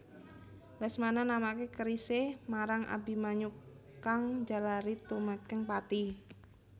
Lesmana namaké kerisé marang Abimanyu kang njalari tumekèng pati